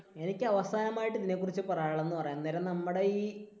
എനിക്ക് അവസാനമായിട്ട് ഇതിനെക്കുറിച്ച് പറയാനുള്ളത് എന്ന് പറയാൻ നേരം നമ്മുടെ ഈ